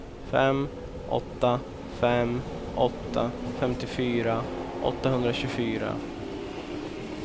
fem åtta fem åtta femtiofyra åttahundratjugofyra